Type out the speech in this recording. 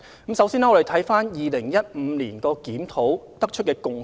我們先看看2015年檢討得出甚麼共識。